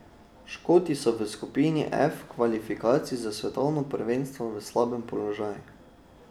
Škoti so v skupini F kvalifikacij za svetovno prvenstvo v slabem položaju.